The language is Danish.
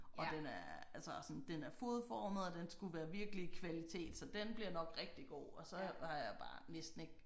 Og den er altså sådan den er fodformet og den skulle være virkelig kvalitet så den bliver nok rigtig god og så har jeg har jeg bare næsten ikke